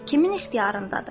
Kimin ixtiyarındadır?